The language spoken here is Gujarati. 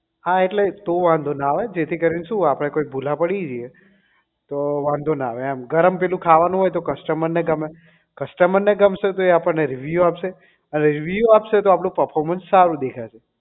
હા એટલે તો વાંધો ના આવે જેથી કરીને શું આપડે કઈ ભૂલા પડી જઈએ તો વાંધો ના આવે એમ ગરમ પેલું ખાવાનું હોય તો customer ને ગમે customer ને ગમશે તો આપણને review આપશે review આપશે તો આપણું performance સારું દેખાશે